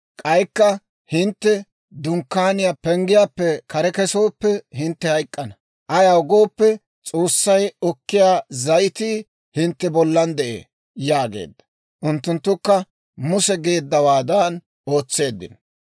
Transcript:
K'aykka hintte Dunkkaaniyaa penggiyaappe kare kesooppe hintte hayk'k'ana; ayaw gooppe S'oossay okkiyaa zayitii hintte bollan de'ee» yaageedda. Unttunttukka Muse geeddawaadan ootseeddino.